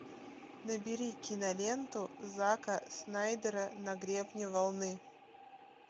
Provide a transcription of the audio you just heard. набери киноленту зака снайдера на гребне волны